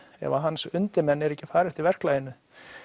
ef hans undirmenn eru ekki að fara eftir verklaginu